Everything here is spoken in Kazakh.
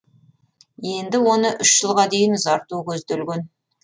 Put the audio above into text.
енді оны үш жылға дейін ұзарту көзделген